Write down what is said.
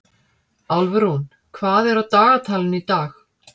Álfrún, hvað er á dagatalinu í dag?